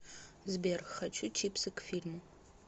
сбер хочу чипсы к фильму